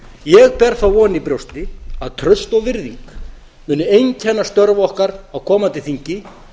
ég ber þá von í brjósti að traust og virðing muni einkenna störf okkar á komandi þingi